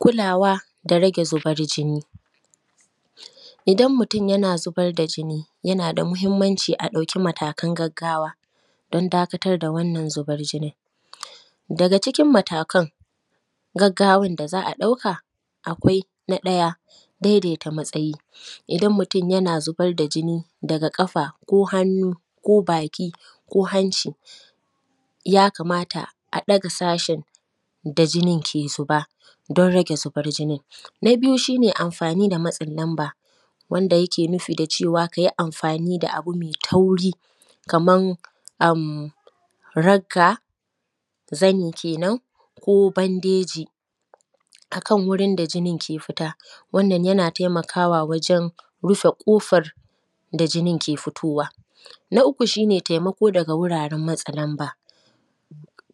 Kulawa da rage Zibar jinni Kulawa da rage zibar jinni. Idan mutun yana zibar da jinni, yana da mihimmanci a ɗauki matakan gaggawa don dakatar da wannan zibar jinin. Daga cikin matakan gaggawan da za a ɗauka, akwai na ɗaya, dedeta matsayi. Idan mutun yana zibar da jini daga ƙafa ko hannu ko baki ko hanci, ya kamata a ɗaga sashin da jinin ke zuba, don rage zibar jinin. Na biyu, shi ne amfani da matsin lamba, wanda yake nufi da cewa ka yi amfani da abu me tauri kaman am ragga, zani kenan ko bandeji a kan wurin da jinin ke fita. Wannan yana temakawa wajen rifa ƙofar da jinin ke fitowa. Na uku, shi ne temako daga wuraren matsa lamba,